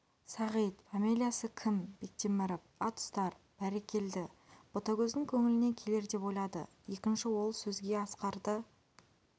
сағит пәмелиясы кім бектеміріп ат ұстар бәр-рек-келді ботагөздің көңіліне келер деп ойлады екінші ол сөзге асқарды